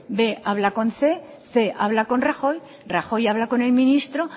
b habla con cien cien habla con rajoy rajoy habla con el ministro